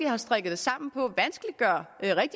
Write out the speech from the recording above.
har strikket det sammen på